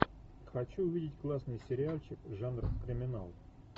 хочу увидеть классный сериальчик жанр криминал